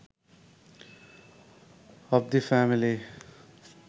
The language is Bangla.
of the family